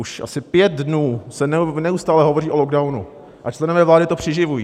Už asi pět dnů se neustále hovoří o lockdownu a členové vlády to přiživují.